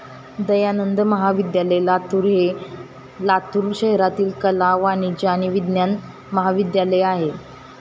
दयानंद महाविद्यालय, लातूर हे लातूर शहरातील कला, वाणिज्य आणि विज्ञान महाविद्यालय आहे.